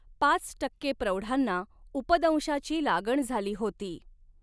पाच टक्के प्रौढांना उपदंशाची लागण झाली होती